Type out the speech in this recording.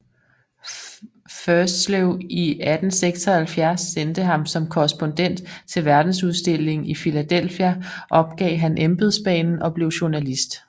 Ferslew i 1876 sendte ham som korrespondent til verdensudstillingen i Philadelphia opgav han embedsbanen og blev journalist